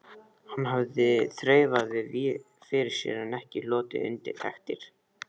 Hann hafði þreifað víða fyrir sér en ekki hlotið undirtektir.